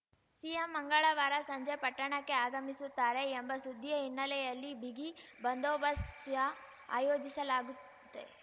CM ಮಂಗಳವಾರ ಸಂಜೆ ಪಟ್ಟಣಕ್ಕೆ ಆಗಮಿಸುತ್ತಾರೆ ಎಂಬ ಸುದ್ದಿಯ ಹಿನ್ನೆಲೆಯಲ್ಲಿ ಬಿಗಿ ಬಂದೋಬಸ್ತ್ ಆಯೋಜಿಸಲಾಗುತ್ತೆ